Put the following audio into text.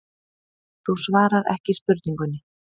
Þú svarar ekki spurningunni.